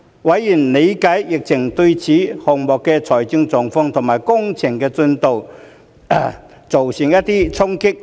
委員理解疫情對此項目的財務狀況和工程進度造成衝擊。